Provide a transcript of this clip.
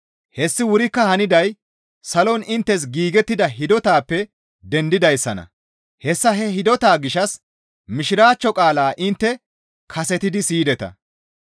Hessi wurikka haniday salon inttes giigettida hidotappe dendidayssanna; hessa he hidota gishshas Mishiraachcho qaalaa intte kasetidi siyideta.